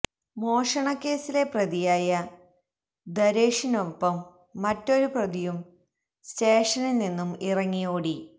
മോഷണ കേസിലെ പ്രതിയായ ദര്വേഷിനൊപ്പം മറ്റൊരു പ്രതിയും സ്റ്റേഷനില് നിന്നും ഇറങ്ങി ഓടി